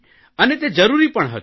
અને તે જરૂરી પણ હતું